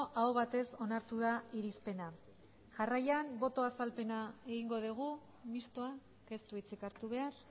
aho batez onartu da irizpena jarraian botoa azalpena egingo dugu mistoa ez du hitzik hartu behar